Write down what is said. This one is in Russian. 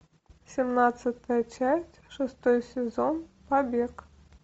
семнадцатая часть шестой сезон побег